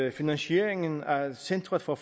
at finansieringen af centret for